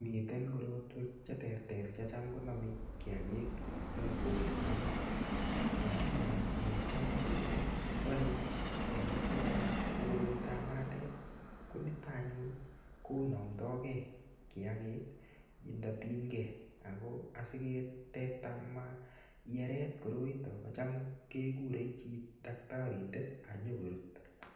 Miten korotwek cheterter chetam konome kiagik en korenyu anee lakini necham ko bore kiagik chechang ko koroitab makatet ko niton anyun konomotegee kiagik indotinygee ako asiketekta maiyeret koroito kocham kekure chi daktarindet ak nyokorut